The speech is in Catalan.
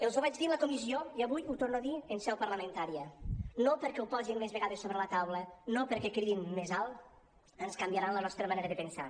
els ho vaig dir a la comissió i avui ho torno a dir en seu parlamentària no perquè ho posin més vegades sobre la taula no perquè cridin més alt ens canviaran la nostra manera de pensar